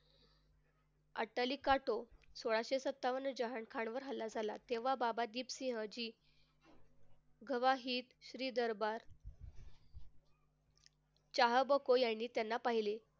अत्तलिका तो सोळाशे सत्तावन्न जहान खान वर हल्ला झाला तेव्हा बाबा दीप सिंह जी गावाहीत श्री दरबार चहाबको यांनी त्याला पाहिले.